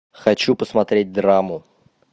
хочу посмотреть драму